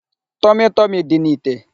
Tọmị tọmị dị n'ite.